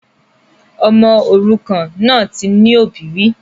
Ọmọ òrukàn náà ti ní òbí rí